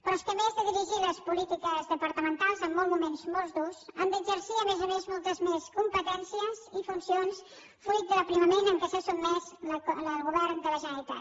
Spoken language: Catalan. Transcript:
però és que a més de dirigir les polítiques departamentals en uns moments molt durs han d’exercir a més a més moltes més competències i funcions fruit de l’aprimament a què s’ha sotmès el govern de la generalitat